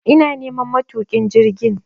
ina neman matukin jirgin